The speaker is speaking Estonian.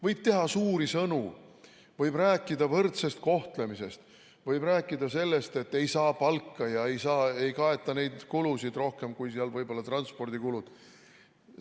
Võib teha suuri sõnu, võib rääkida võrdsest kohtlemisest, võib rääkida sellest, et ei saa palka ja ei kaeta neid kulusid rohkem kui võib-olla transpordikulud.